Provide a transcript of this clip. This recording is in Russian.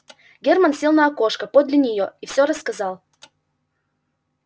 германн сел на окошко подле нее и все рассказал